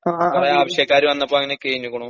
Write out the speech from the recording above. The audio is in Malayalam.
കൊറേ ആവശ്യക്കാര് വന്നപ്പോ അങ്ങനെ കയിഞ്ഞിക്കുണു